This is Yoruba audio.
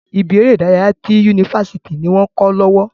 Ibi eré ìdárayá ti yunifásítì ni wọn kọ lọwọ.